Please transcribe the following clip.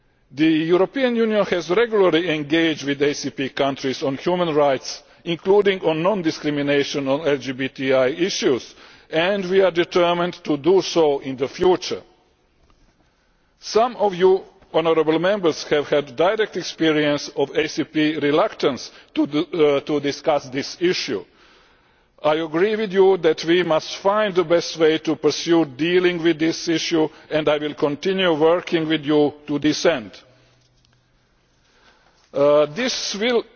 The European Union has regularly engaged with ACP countries on human rights, including non discrimination on LGBTI issues, and we are determined to do so in the future. Some Honourable Members have had direct experience of ACP reluctance to discuss this issue. I agree with you that we must find the best way to pursue dealing with this issue and I will continue working with you to this end. This will,